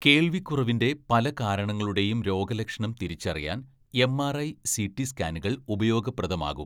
കേൾവിക്കുറവിന്റെ പല കാരണങ്ങളുടെയും രോഗലക്ഷണം തിരിച്ചറിയാൻ എംആർഐ, സിടി സ്കാനുകൾ ഉപയോഗപ്രദമാകും.